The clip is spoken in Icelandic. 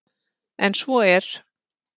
En svo er